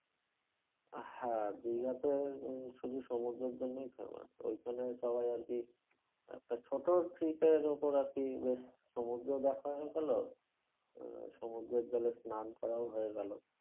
হ্যাঁ দিঘাতে উম শুধু সমুদ্রের জন্যই famous ওইখানে সবাই আরকি একটা ছোটো trip এর ওপর একটা আরকি বেশ সমুদ্র দেখা হয়ে গেলো আহ সমুদ্রের জ্বলে স্নান করাও হয়ে গেলো